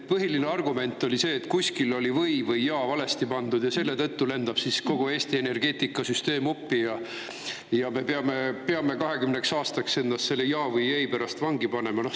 Põhiline argument oli see, et kuskil oli "või" ja "ja" valesti pandud ja selle tõttu lendab kogu Eesti energeetikasüsteem uppi ja me peame 20 aastaks ennast selle "ja" või "ei" pärast vangi panema.